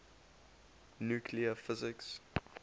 nuclear physics